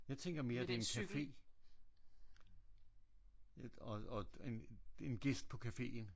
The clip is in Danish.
Jeg tænker mere at det er en café og og en en gæst på caféen